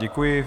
Děkuji.